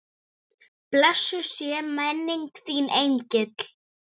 Blessuð sé minning þín engill.